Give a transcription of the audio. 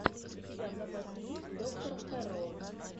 у тебя в запасе есть доктор хэрроу